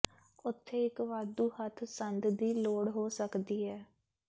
ਉੱਥੇ ਇੱਕ ਵਾਧੂ ਹੱਥ ਸੰਦ ਦੀ ਲੋੜ ਹੋ ਸਕਦੀ ਹੈ